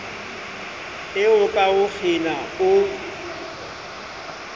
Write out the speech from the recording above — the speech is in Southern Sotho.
eo ka ho kgena o